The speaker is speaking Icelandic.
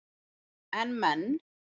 En menn